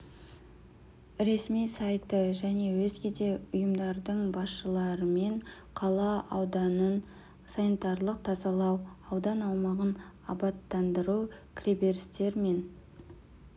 ресми сайты және өзге де ұйымдардың басшыларыменқала ауданын санитарлық тазалау аудан аумағын абаттандыру кіреберістер мен